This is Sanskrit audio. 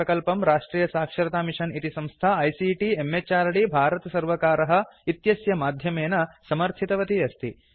इमं प्रकल्पं राष्ट्रियसाक्षरतामिषन् इति संस्था आईसीटी म्हृद् भारतसर्वकारः इत्यस्य माध्यमेन समर्थितवती अस्ति